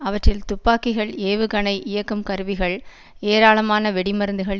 அவற்றில் துப்பாக்கிகள் ஏவுகணை இயக்கும் கருவிகள் ஏராளமான வெடி மருந்துகள்